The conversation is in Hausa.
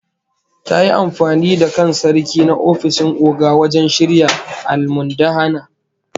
Ta yi amfani da kan Sarki na ofishin Oga wajen shirya almundahana